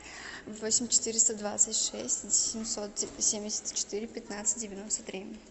восемь четыреста двадцать шесть семьсот семьдесят четыре пятнадцать девяносто три